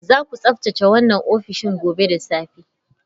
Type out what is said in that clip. Zaku tsaftace wannan ofishin gobe da safe